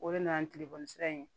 O de nana ni telefɔni sira in ye